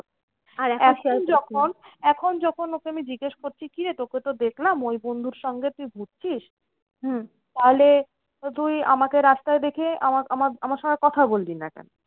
এখন যখন ওকে আমি জিজ্ঞেস করছি, কি রে তোকে তো দেখলাম ওই বন্ধুর সঙ্গে তুই ঘুরছিস? তাহলে তো তুই আমাকে রাস্তায় দেখে আমা আমা আমার সঙ্গে কথা বললি না কেন?